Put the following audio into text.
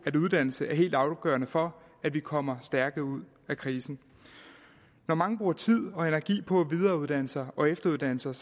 at uddannelse er helt afgørende for at vi kommer stærke ud af krisen når mange bruger tid og energi på at videreuddanne sig og efteruddanne sig